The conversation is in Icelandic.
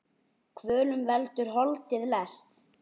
Kvölum veldur holdið lest.